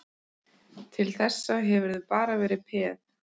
Til þessa hefurðu bara verið peð.